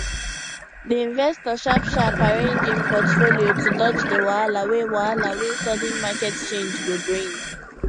di investor sharpsharp arrange im portfolio to dodge di wahala wey wahala wey sudden market change go bring